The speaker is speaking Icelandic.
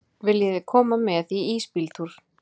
Viljiði koma með í ísbíltúr?